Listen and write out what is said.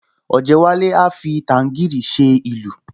Ọ̀jẹ́wálé a fi tàǹgíìrì ṣe ìlù